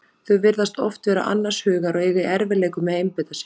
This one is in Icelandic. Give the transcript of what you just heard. Þau virðast oft vera annars hugar og eiga í erfiðleikum með að einbeita sér.